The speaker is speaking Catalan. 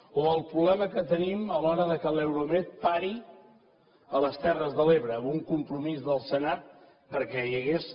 o el problema que tenim a l’hora que l’euromed pari a les terres de l’ebre amb un compromís del senat perquè hi hagués